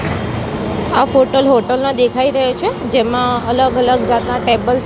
આ ફોટલ હોટલ ના દેખાય રહ્યો છે જેમાં અલગ અલગ જાતના ટેબલ --